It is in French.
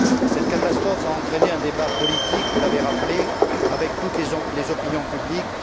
Cette catastrophe a entraîné un débat politique vous l'avez rappelé avec toutes les opinions publiques.